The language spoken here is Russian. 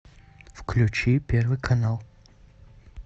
включи первый канал